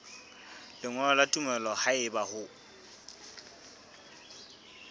lengolo la tumello haeba o